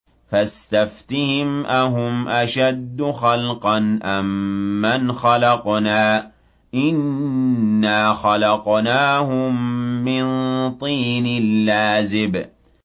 فَاسْتَفْتِهِمْ أَهُمْ أَشَدُّ خَلْقًا أَم مَّنْ خَلَقْنَا ۚ إِنَّا خَلَقْنَاهُم مِّن طِينٍ لَّازِبٍ